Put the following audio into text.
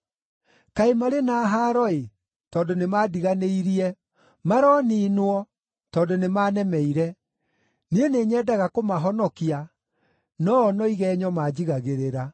Kaĩ marĩ na haaro-ĩ, tondũ nĩmandiganĩirie! Maroniinwo, tondũ nĩmanemeire! Niĩ nĩnyendaga kũmahonokia, no-o no igenyo manjigagĩrĩra.